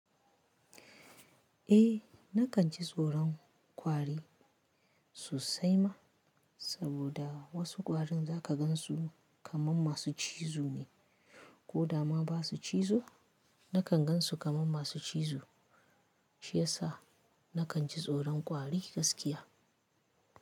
Eh, na kan ci tsoron kwari sosai ma, saboda wasu kwarin za ka gan su kaman masu cizo ne ko da ma basu cizo, na kan gan su kaman masu cizo. Shi ya sa na kan ci tsoron kwari gaskiya.